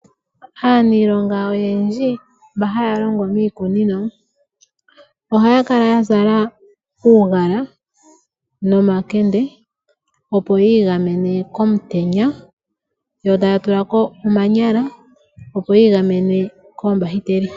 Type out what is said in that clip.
Aaniilonga oyendji mba haya longo miikunino ohaya kala ya zala uugala nomakende, opo ya igamene komutenya. Yo taya tula ko omanyala opo yi igamene koombahiteli.